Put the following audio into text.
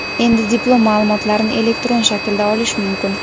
Endi diplom ma’lumotlarini elektron shaklda olish mumkin.